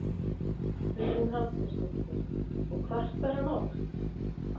Hugrún Halldórsdóttir: Og kvartar hann oft?